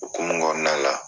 Okumu kɔnɔna la